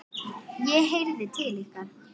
ég heyrði til ykkar!